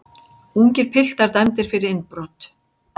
Ungir piltar dæmdir fyrir innbrot